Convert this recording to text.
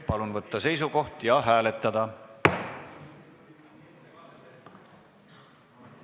Palun võtta seisukoht ja hääletada!